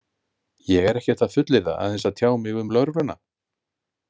En ég er ekkert að fullyrða, aðeins að tjá mig um lögregluna.